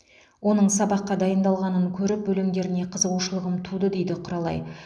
оның сабаққа дайындалғанын көріп өлеңдеріне қызығушылығым туды дейді құралай